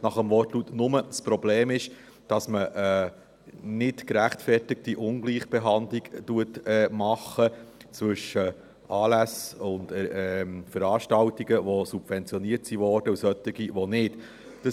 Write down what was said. Das Problem ist nur, dass man eine nichtgerechtfertigte Ungleichbehandlung zwischen Anlässen und Veranstaltungen macht, die subventioniert wurden, und solchen, die das nicht wurden.